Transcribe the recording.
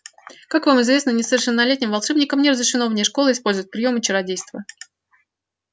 как вам известно несовершеннолетним волшебникам не разрешено вне школы использовать приёмы чародейства